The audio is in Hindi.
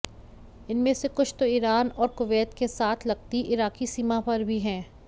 इनमें से कुछ तो ईरान और कुवैत के साथ लगती इराकी सीमा पर भी हैं